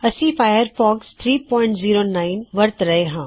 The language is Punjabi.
ਮੈਂ ਫਾਇਅਰ ਫੌਸਕ 309ਫਾਇਰਫੌਕਸ09 ਵਰਤ ਰਿਹਾ